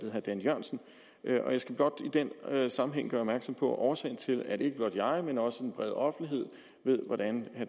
herre dan jørgensen og jeg skal blot i den sammenhæng gøre opmærksom på at årsagen til at ikke blot jeg men også en bred offentlighed ved hvordan